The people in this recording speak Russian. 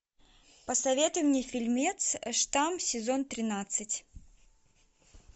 посоветуй мне фильмец штамм сезон тринадцать